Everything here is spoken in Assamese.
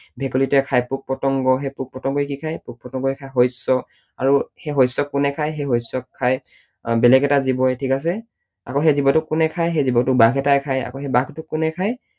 ভেকুলীটোৱে খায় পোক পতংগ, সেই পোক পতংগই কি খায়, পোক পতংগই খায় শস্য আৰু সেই শস্যক কোনে খায়? সেই শস্যক খায় বেলেগ এটা জীৱই, ঠিক আছে? আকৌ সেই জীৱটোক কোনে খায়? সেই জীৱটোক বাঘ এটাই খায়, আকৌ সেই বাঘটোক কোনে খায়?